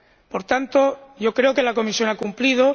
Por tanto, yo creo que la Comisión ha cumplido.